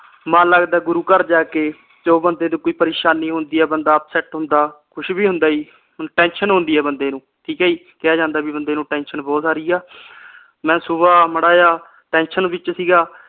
ਮਨ ਲਗਦਾ ਗੁਰੂ ਘਰ ਜਾ ਕੇ ਜਦੋ ਬੰਦੇ ਤੇ ਕੋਈ ਪ੍ਰੇਸ਼ਾਨੀ ਹੁੰਦੀ ਆ ਬੰਦਾ upset ਹੁੰਦਾ ਕੁਝ ਵੀ ਹੁੰਦਾ ਜੀ ਹੁਣ tension ਹੁੰਦੀ ਆ ਬੰਦੇ ਨੂੰ ਠੀਕ ਆ ਜੀ ਕਿਹਾ ਜਾਂਦਾ ਕੇ ਬੰਦੇ ਨੂੰ ਟੇਂਸ਼ਨ ਬਹੁਤ ਸਾਰੀ ਆ ਮੈਂ ਸੁਬਹ ਮਾੜਾ ਜਿਹਾ tension ਵਿਚ ਸੀ।